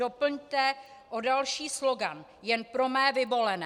doplňte o další slogan: Jen pro mé vyvolené.